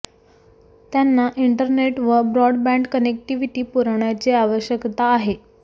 त्यांना इंटरनेट व broadband connectivity पुरवण्याची आवश्यकता आहे